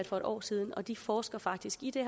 for et år siden de forsker faktisk i det